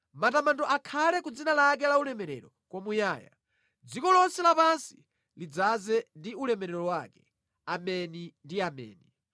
Matamando akhale ku dzina lake laulemerero kwamuyaya dziko lonse lapansi lidzaze ndi ulemerero wake. Ameni ndi Ameni.